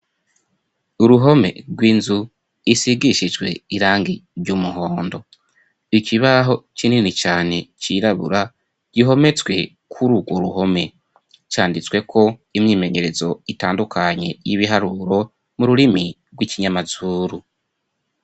Uruhome rw'inzu isigishijwe irangi ry'umuhondo. Ikibaho kinini cane cirabura gihometswe kuri urwo ruhome, canditswe ko imyimenyerezo itandukanye y'ibiharuro mu rurimi rw'ikinyamazuru.